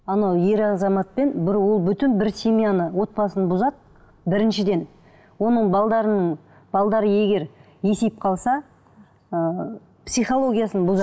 анау ер азаматпен бір ол бөтен бір семьяны отбасын бұзады біріншіден оның егер есейіп қалса ыыы психологиясын бұзады